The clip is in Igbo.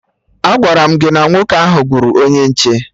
Agwara m gị na nwoke ahụ gburu onye nche